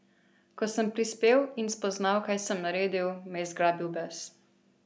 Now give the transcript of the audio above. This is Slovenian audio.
Ko sem prispel in spoznal, kaj sem naredil, me je zgrabil bes.